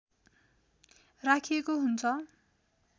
राखिएको हुन्छ